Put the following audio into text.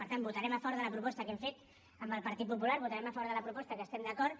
per tant votarem a favor de la proposta que hem fet amb el partit popular votarem a favor de la proposta que estem d’acord